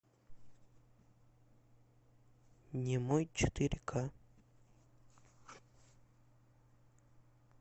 немой четыре ка